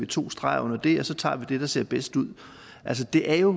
to streger under det og vi så tager det der ser bedst ud altså det er jo